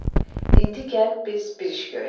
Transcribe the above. İndi gəl biz bir iş görək.